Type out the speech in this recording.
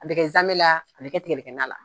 A bɛ kɛ zanmɛ la a bɛ kɛ tigadɛgɛna la.